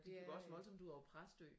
Det gik også voldsomt ud over Præstø